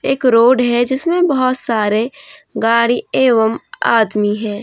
एक रोड है जिसमे बहोत सारे गाड़ी एवं आदमी है।